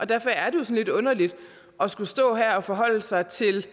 derfor er det lidt underligt at skulle stå her og forholde sig til